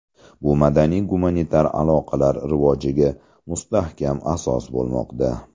Bu madaniy-gumanitar aloqalar rivojiga mustahkam asos bo‘lmoqda.